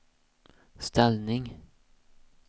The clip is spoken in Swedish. ställning